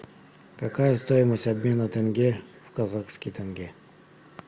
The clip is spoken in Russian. какая стоимость обмена тенге в казахский тенге